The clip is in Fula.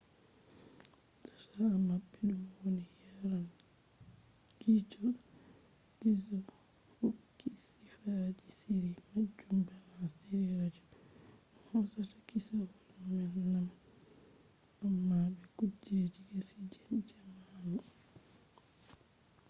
tasha mabbe dum woni yanar gizo hokki sifaaji shiri majum bana shiri radio dum hosata kissawol nanne amma be kujeji kesi je jamanu!